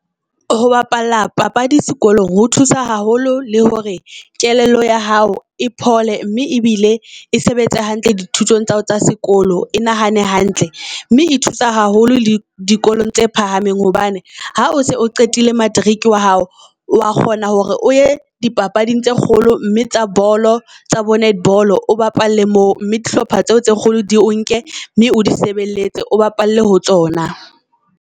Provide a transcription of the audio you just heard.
Ho bapala papadi sekolong ho thusa haholo le hore kelello ya hao e phole mme ebile e sebetse hantle di thutong tsa hao tsa sekolo. E nahane hantle mme e thusa haholo le dikolong tse phahameng hobane ha o se o qetile matric wa hao, wa kgona hore o ye di papading tse kgolo. Mme tsa bolo tsa bo netball o bapalle moo, mme di hlopha tseo tse kgolo di o nke mme o di sebeletse. O bapalle ho tsona.